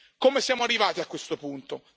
Come siamo arrivati a questo punto?